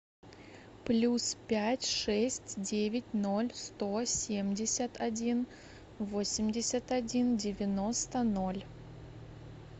плюс пять шесть девять ноль сто семьдесят один восемьдесят один девяносто ноль